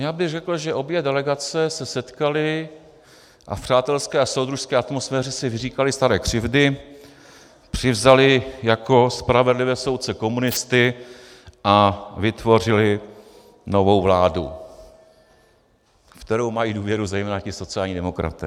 Já bych řekl, že obě delegace se setkaly a v přátelské a soudružské atmosféře si vyříkaly staré křivdy, přizvaly jako spravedlivé soudce komunisty a vytvořily novou vládu, ve kterou mají důvěru zejména ti sociální demokraté.